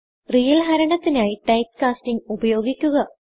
real ഹരണത്തിനായി typecastingഉപയോഗിക്കുക